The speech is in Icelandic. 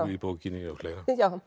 í bókinni og fleira